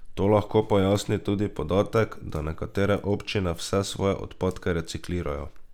To lahko pojasni tudi podatek, da nekatere občine vse svoje odpadke reciklirajo.